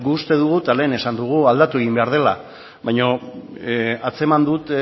guk uste dugu eta lehen esan dugu aldatu egin behar dela baina atzeman dut